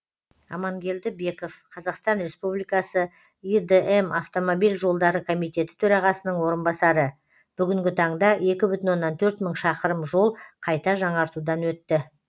амангелді беков қазақстан республикасы идм автомобиль жолдары комитеті төрағасының орынбасары бүгінгі таңда екі бүтін оннан төрт мың шақырым жол қайта жаңартудан өтті